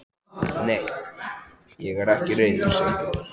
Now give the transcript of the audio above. Nei, ég er þér ekki reiður Sigríður.